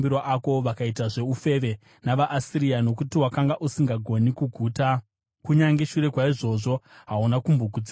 Wakaitazve ufeve navaAsiria, nokuti wakanga usingagoni kuguta; kunyange shure kwaizvozvo hauna kumbogutsikana nazvo.